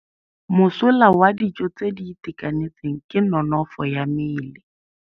Mosola wa dijô tse di itekanetseng ke nonôfô ya mmele.